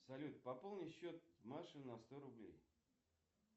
салют пополни счет маши на сто рублей